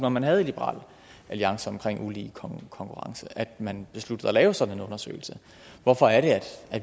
at man havde i liberal alliance om ulige konkurrence at man besluttede at lave sådan en undersøgelse hvorfor er det